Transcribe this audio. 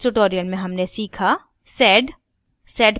इस tutorial में हमने सीखा sed